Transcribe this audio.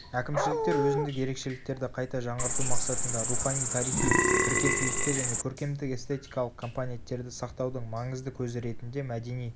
әкімшіліктер өзіндік ерекшеліктерді қайта жаңғырту мақсатында рухани-тарихи біркелкілікті және көркемдік-эстетикалық компонеттерді сақтаудың маңызды көзі ретінде мәдени